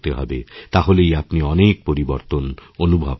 তাহলেই আপনি অনেক পরিবর্তন অনুভব করবেন